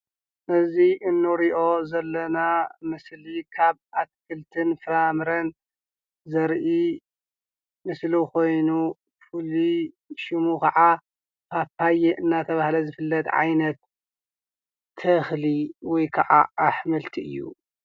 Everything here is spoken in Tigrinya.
እዚ እንሪኦ ዘለና ምስሊ ካብ ኣትክልትን ፍራምረን ዘርኢ ምስሊ ኾይኑ ፍሉይ ሽሙ ኸዓ ፓፓየ እናተባህለ ዝፍለጥ ዓይነት ተኽሊ ወይ ከዓ ኣሕምልቲ እዩ፡፡